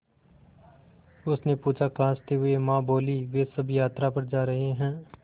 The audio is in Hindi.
उसने पूछा खाँसते हुए माँ बोलीं वे सब यात्रा पर जा रहे हैं